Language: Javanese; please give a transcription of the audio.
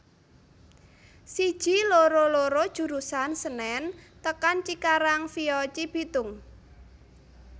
Siji loro loro jurusan Senen tekan Cikarang via Cibitung